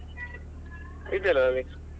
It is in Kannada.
ಇದೆಯಲ್ಲಾ ಅದು.